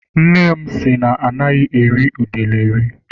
Nne m sị na anaghị eri udele eri.